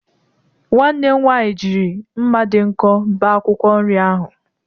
Nwanne m nwaanyị jiri mma dị nkọ bee akwụkwọ nri ahụ.